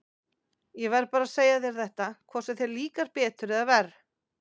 Ég verð bara að segja þér þetta, hvort sem þér líkar betur eða verr.